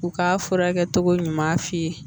U k'a furakɛ cogo ɲuman f'i ye